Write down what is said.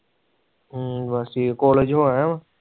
ਹਮ ਬਸ ਏ ਕਾਲਜ ਹੋ ਆਯਾ ਆ